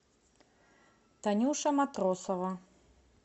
танюша матросова